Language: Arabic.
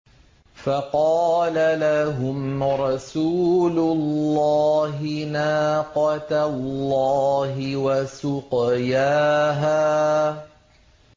فَقَالَ لَهُمْ رَسُولُ اللَّهِ نَاقَةَ اللَّهِ وَسُقْيَاهَا